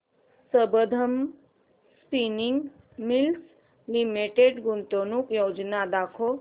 Sambandam spinning mills limited गुंतवणूक योजना दाखव